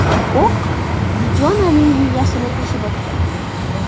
O‘q Dijonaning miyasini teshib o‘tgan.